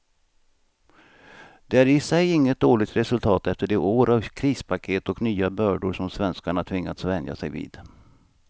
Det är i sig inget dåligt resultat efter de år av krispaket och nya bördor som svenskarna tvingats vänja sig vid.